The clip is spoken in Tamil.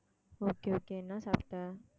okay okay என்ன சாப்பிட்ட